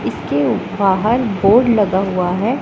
इसके उप बाहर बोर्ड लगा हुआ है।